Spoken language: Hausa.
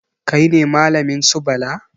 Kai ne malamin su Bala?